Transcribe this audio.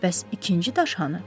Bəs ikinci daş hanı?